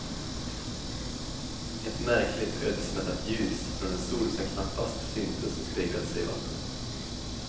Ett märkligt, ödesmättat ljus från en sol som knappast syntes speglade sig i vattnet.